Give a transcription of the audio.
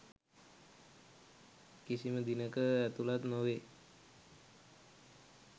කිසිම දිනක ඇතුළත් නොවේ.